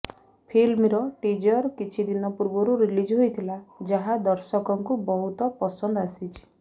ଫିଲ୍ମର ଟିଜର କିଛି ଦିନ ପୂର୍ବରୁ ରିଲିଜ ହୋଇଥିଲା ଯାହା ଦର୍ଶକଙ୍କୁ ବହୁତ ପସନ୍ଦ ଆସିଛି